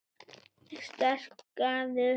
Starkaður